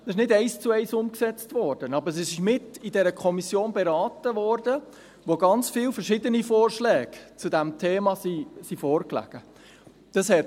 Sie wurde nicht eins zu eins umgesetzt, aber sie wurde in jener Kommission beraten, wo ganz viele verschiedene Vorschläge zu diesem Thema vorgelegen sind.